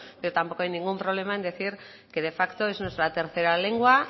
pero tampoco hay ningún problema en decir que de facto es nuestra tercera lengua